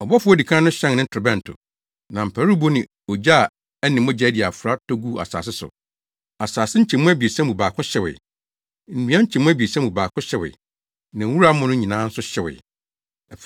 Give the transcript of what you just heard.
Ɔbɔfo a odi kan no hyɛn ne torobɛnto. Na mparuwbo ne ogya a ɛne mogya adi afra tɔ guu asase so. Asase nkyɛmu abiɛsa mu baako hyewee. Nnua nkyɛmu abiɛsa mu baako hyewee, na wura amono nyinaa nso hyewee.